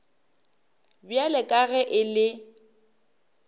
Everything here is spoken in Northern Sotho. bjalo ka ge e le